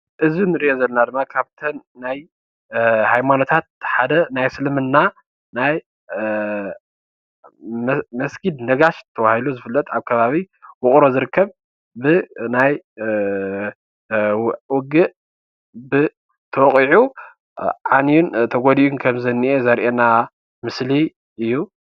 እዚ ንሪኦ ዘለና ድማ ካብተን ናይ ሃይማኖታት ሓደ ናይ እስልምና ናይ መስጊድ ነጋሽ ተባሂሉ ዝፍለጥ ኣብ ከባቢ ዉቕሮ ዝርከብ ብናይ ዉግእ ተወቒዑ ዓንዩን ተጎዲኡን ከምዝኒኤ ዘርእየና ምስሊ እዩ፡፡